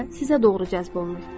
o isə sizə doğru cəzb olunur.